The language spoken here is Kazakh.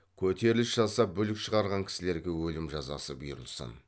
көтеріліс жасап бүлік шығарған кісілерге өлім жазасы бұйырылсын